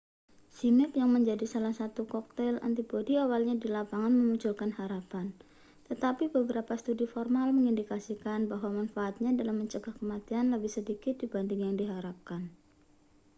zmapp yang menjadi salah satu koktail antibodi awalnya di lapangan memunculkan harapan tetapi beberapa studi formal mengindikasikan bahwa manfaatnya dalam mencegah kematian lebih sedikit dibanding yang diharapkan